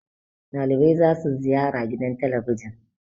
dalibai za su ziyara gidan talabijin